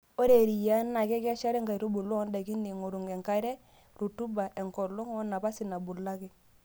Ore eriyiaa na kekeshare nkaitubulu oondaikin eing'oru enkare, rutuba, enkolong' woonapasi nabulaki.